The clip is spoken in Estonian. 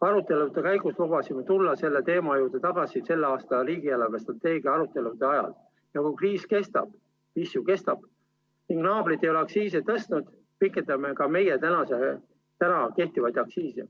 Arutelude käigus lubasime tulla selle teema juurde tagasi tänavuste riigi eelarvestrateegia arutelude ajal ja kui kriis kestab – mis ju kestab – ning naabrid ei ole aktsiisi tõstnud, pikendada praegusi aktsiise.